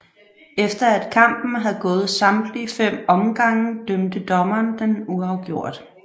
Efter at kampen havde gået samtlige 5 omgange dømte dommerne den uafgjort